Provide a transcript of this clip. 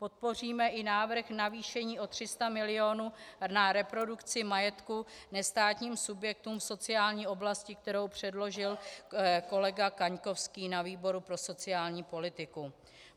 Podpoříme i návrh navýšení o 300 mil. na reprodukci majetku nestátním subjektům v sociální oblasti, kterou předložil kolega Kaňkovský na výboru pro sociální politiku.